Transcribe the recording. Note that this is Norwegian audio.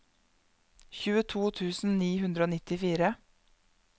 tjueto tusen ni hundre og nittifire